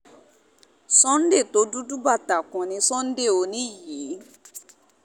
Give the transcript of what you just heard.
sunday tó dúdú bàtàkùn ní sunday òní yìí